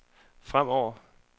fremover